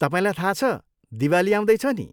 तपाईँलाई थाहा छ, दिवाली आउँदैछ नि!